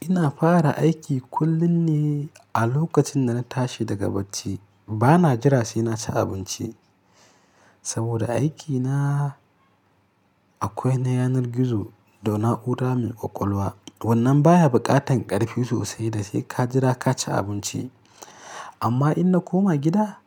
Ina fara aiki kullum ne a lokacin da na tashi daga bacci. Bana jira sai na ci abinci saboda aikina akwai na yanar gizo da na'ura mai ƙwaƙwalwa. Wannan baya buƙatan ƙarfi sosai da sai ka jira ka ci abinci. Amma in na koma gida,